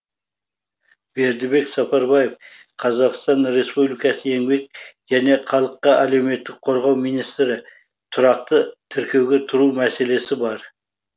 бердібек сапарбаев қазақстан республикасы еңбек және халыққа әлеуметтік қорғау министрі тұрақты тіркеуге тұру мәселесі бар